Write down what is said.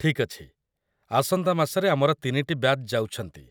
ଠିକ୍‌ ଅଛି। ଆସନ୍ତା ମାସରେ ଆମର ୩ଟି ବ୍ୟାଚ୍ ଯାଉଛନ୍ତି।